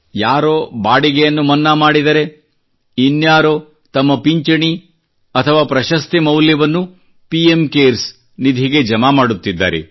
ಯಾರೋ ಬಾಡಿಗೆಯನ್ನು ಮನ್ನಾ ಮಾಡಿದರೆ ಇನ್ನಾರೋ ತಮ್ಮ ಪಿಂಚಣಿ ಅಥವಾ ಪ್ರಶಸ್ತಿ ಮೌಲ್ಯವನ್ನು ಪಿ ಎಂ ಕೇರ್ಸ್ ನಿಧಿಗೆ ಜಮಾ ಮಾಡುತ್ತಿದ್ದಾರೆ